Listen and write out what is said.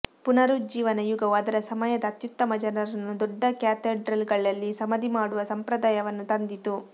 ಪುನರುಜ್ಜೀವನ ಯುಗವು ಅದರ ಸಮಯದ ಅತ್ಯುತ್ತಮ ಜನರನ್ನು ದೊಡ್ಡ ಕ್ಯಾಥೆಡ್ರಲ್ಗಳಲ್ಲಿ ಸಮಾಧಿ ಮಾಡುವ ಸಂಪ್ರದಾಯವನ್ನು ತಂದಿತು